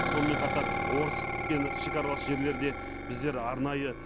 сонымен қатар орскпен шекаралас жерлерде біздер арнайы